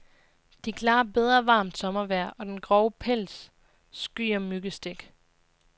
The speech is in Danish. De klarer bedre varmt sommervejr, og den grove pels skyer myggestik.